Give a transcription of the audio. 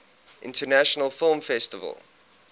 international film festival